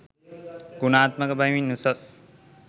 ගුණාත්මක බැවින් උසස්.